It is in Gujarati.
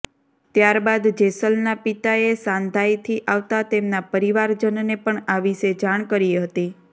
ત્યારબાદ જેસલના પિતાએ શાંધાઈથી આવતા તેમના પરિવારજનને પણ આ વિશે જાણ કરી હતી